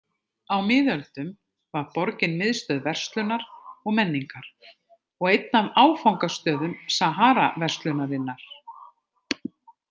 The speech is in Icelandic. Á miðöldum var borgin miðstöð verslunar og menningar og einn af áfangastöðum Saharaverslunarinnar.